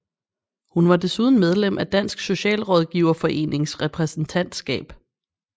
Hun var desuden medlem af Dansk Socialrådgiverforenings repræsentatskab